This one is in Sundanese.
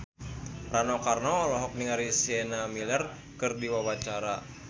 Rano Karno olohok ningali Sienna Miller keur diwawancara